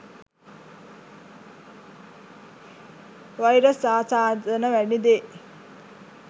Virus ආසාදන වැනි දේ.